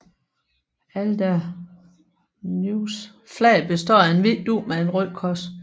Alderneys flag består af en hvid dug med et rødt kors